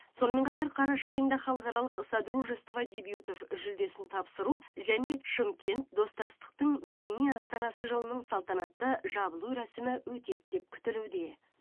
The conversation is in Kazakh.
сонымен қатар қараша айында халықаралық содружество дебютов жүлдесін тапсыру және шымкент достастықтың мәдени астанасы жылының салтанатты жабылу рәсімі өтеді деп күтілуде